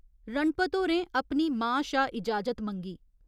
रणपत होरें अपनी मां शा इजाजत मंगी।